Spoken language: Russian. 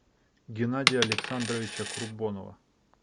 геннадия александровича курбонова